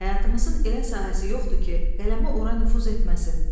Həyatımızın elə sahəsi yoxdur ki, qələmi ora nüfuz etməsin.